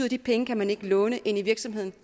at de penge kan man ikke låne ind i virksomheden